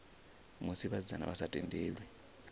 musi vhasidzana vha sa tendelwi